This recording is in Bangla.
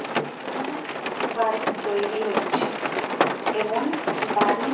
নতুন এক বাড়ি তৈরী হচ্চে। এবং বাড়ির--